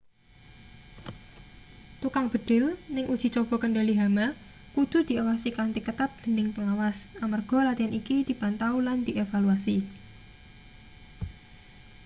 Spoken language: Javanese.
tukang mbedhil ning uji coba kendhali hama kudu diawasi kanthi ketat dening pengawas amarga latian iki dipantau lan dievaluasi